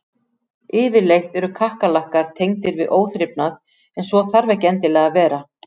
Yfirleitt eru kakkalakkar tengdir við óþrifnað en svo þarf ekki endilega að vera.